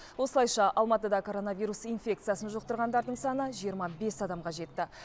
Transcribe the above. осылайша алматыда коронавирус инфекциясын жұқтырғандардың саны жиырма бес адамға жетті